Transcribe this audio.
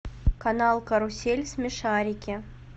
канал карусель смешарики